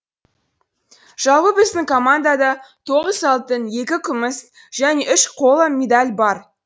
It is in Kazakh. жалпы біздің командада тоғыз алтын екі күміс және үш қола медаль бар